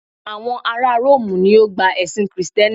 àwọn ará rómù ni o gba ẹsìn Kristẹni